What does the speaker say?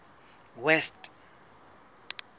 west